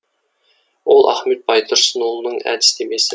ол ахмет байтұрсынұлының әдістемесі